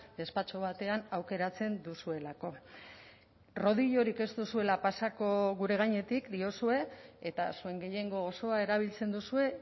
despatxo batean aukeratzen duzuelako rodillorik ez duzuela pasako gure gainetik diozue eta zuen gehiengo osoa erabiltzen duzue